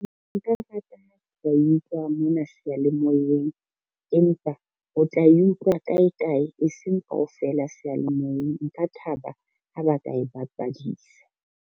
Nka rata ha nka e utlwa mona seyalemoyeng, empa o tla e utlwa kae kae e seng kaofela seyalemoyeng, nka thaba ha ba ka e bapadisa.